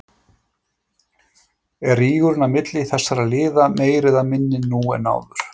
Er rígurinn á milli þessara lið meiri eða minni nú en áður?